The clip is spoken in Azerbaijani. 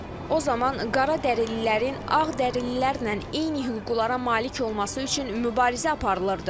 O zaman qara dərililərin ağ dərililərlə eyni hüquqlara malik olması üçün mübarizə aparılırdı.